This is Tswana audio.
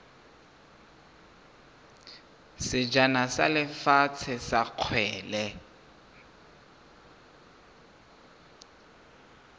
sejana sa lefatshe sa kgwele